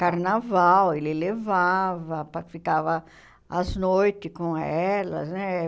Carnaval, ele levava, pa ficava as noites com elas, né?